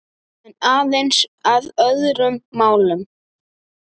En aðeins að öðrum málum.